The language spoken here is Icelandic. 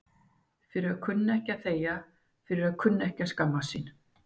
Fyrir að kunna ekki að þegja, fyrir að kunna ekki að skammast sín.